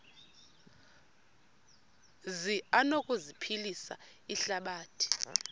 zi anokuphilisa ihlabathi